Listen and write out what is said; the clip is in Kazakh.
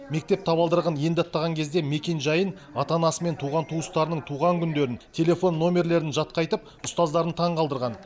мектеп табалдырығын енді аттаған кезде мекенжайын ата анасы мен туған туыстарының туған күндерін телефон номерлерін жатқа айтып ұстаздарын таңғалдырған